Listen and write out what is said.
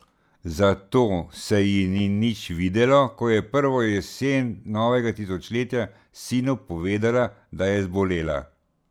Zato se ji ni nič videlo, ko je prvo jesen novega tisočletja sinu povedala, da je zbolela.